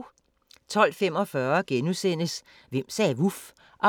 12:45: Hvem sagde vuf? (10:12)*